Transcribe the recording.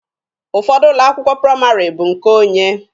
Ụfọdụ ụlọ akwụkwọ praịmarị bụ nke onye.